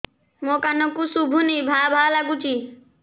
ମୋ କାନକୁ ଶୁଭୁନି ଭା ଭା ଲାଗୁଚି